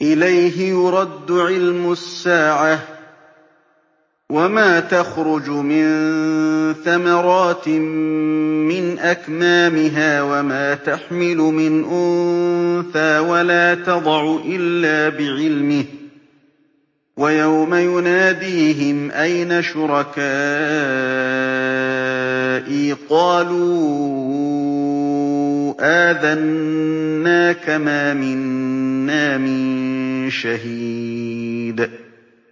۞ إِلَيْهِ يُرَدُّ عِلْمُ السَّاعَةِ ۚ وَمَا تَخْرُجُ مِن ثَمَرَاتٍ مِّنْ أَكْمَامِهَا وَمَا تَحْمِلُ مِنْ أُنثَىٰ وَلَا تَضَعُ إِلَّا بِعِلْمِهِ ۚ وَيَوْمَ يُنَادِيهِمْ أَيْنَ شُرَكَائِي قَالُوا آذَنَّاكَ مَا مِنَّا مِن شَهِيدٍ